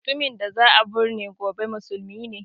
Mutumin da za a burne gobe musulmin